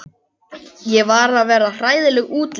Ég er að verða hræðileg útlits.